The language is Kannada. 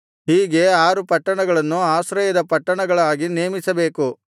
ಹೀಗೆ ಆರು ಪಟ್ಟಣಗಳನ್ನು ಆಶ್ರಯದ ಪಟ್ಟಣಗಳಾಗಿ ನೇಮಿಸಬೇಕು